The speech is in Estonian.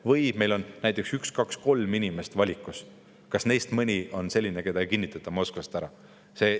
" Või meil on näiteks üks, kaks, kolm inimest valikus, kas neist mõni on selline, keda ei kinnitata Moskvas ära?